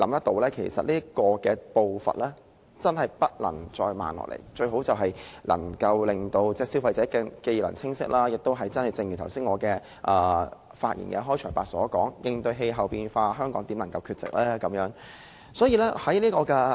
這個步伐真的不能再慢下來，最好能令消費者既能清晰計劃，亦正如我在開場發言時所說，應對氣候變化，香港怎能缺席？